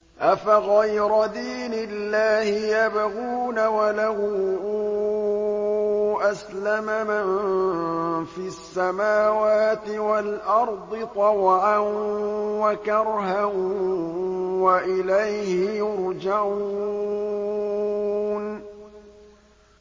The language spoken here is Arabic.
أَفَغَيْرَ دِينِ اللَّهِ يَبْغُونَ وَلَهُ أَسْلَمَ مَن فِي السَّمَاوَاتِ وَالْأَرْضِ طَوْعًا وَكَرْهًا وَإِلَيْهِ يُرْجَعُونَ